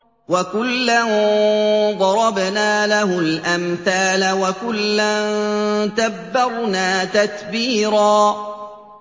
وَكُلًّا ضَرَبْنَا لَهُ الْأَمْثَالَ ۖ وَكُلًّا تَبَّرْنَا تَتْبِيرًا